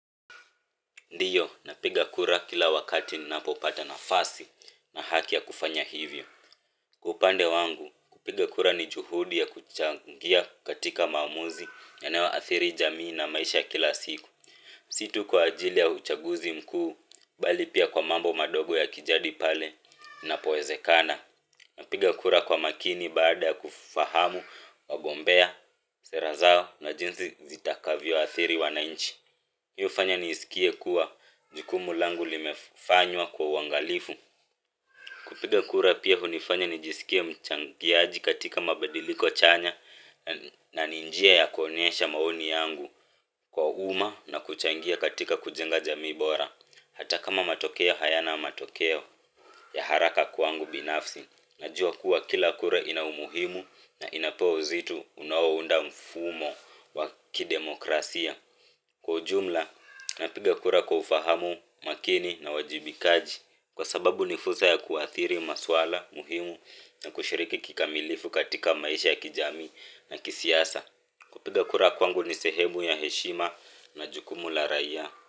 Ndiyo, napiga kura kila wakati ninapopata nafasi na haki ya kufanya hivyo. Kwa upande wangu, kupiga kura ni jukumu la kuchangia katika maamuzi yanayoathiri jamii na maisha ya kila siku. Si tu kwa ajili ya uchaguzi mkuu pekee, bali pia kwa mambo madogo ya kijamii. Pale inapowezekana, napiga kura kwa makini baada ya kufahamu wagombea, sera zao na jinsi zitakavyoathiri wananchi. Hii ufanya nisikie kuwa jukumu langu limefanywa kwa uangalifu kupiga kura pia hunifanya nijisikie mchangiaji katika mabadiliko chanya. Na ni njia ya kuonyesha maoni yangu kwa umma na kuchangia katika kujenga jamii bora, hata kama matokeo hayana matokeo ya haraka kwangu binafsi. Najua kuwa kila kura ina umuhimu na inapewa uzito unaounda mfumo wa kidemokrasia. Kwa jumla, napiga kura kwa ufahamu, makini na uwajibikaji kwa sababu ni fursa kuathiri masuala muhimu na kushiriki kikamilifu katika maisha ya kijamii na kisiasa. Kupiga kura kwangu ni sehemu ya heshima na jukumu la raia.